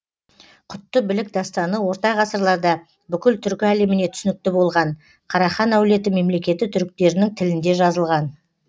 құтты білік дастаны орта ғасырларда бүкіл түркі әлеміне түсінікті болған карахан әулеті мемлекеті түріктерінің тілінде жазылған